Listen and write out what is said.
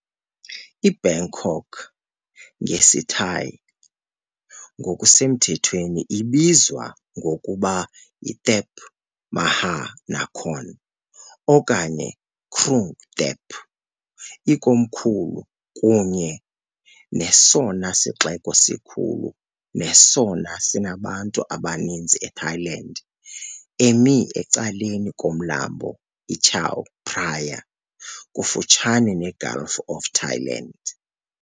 IBangkok, ngesiThai ngokusemthethweni ibizwa ngokuba Thep Maha Nakhon okanye iKrung Thep ikomkhulu kunye nesona sixeko sikhulu nesona sinabantu abaninzi eThailand, emi ecaleni koMlambo iChao Phraya, kufutshane neGulf of Thailand .